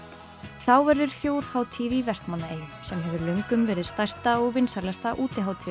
þá verður þjóðhátíð í Vestmannaeyjum sem hefur löngum verið stærsta og vinsælasta